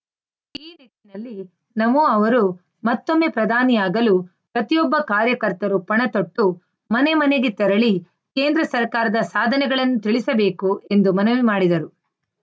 ನಮೋ ಅವರು ಮತ್ತೊಮ್ಮೆ ಪ್ರಧಾನಿಯಾಗಲು ಪ್ರತಿಯೊಬ್ಬ ಕಾರ್ಯಕರ್ತರು ಪಣತೊಟ್ಟು ಮನೆ ಮನೆಗೆ ತೆರಳಿ ಕೇಂದ್ರ ಸರ್ಕಾರದ ಸಾಧನೆಗಳನ್ನು ತಿಳಿಸಬೇಕು ಎಂದು ಮನವಿ ಮಾಡಿದರು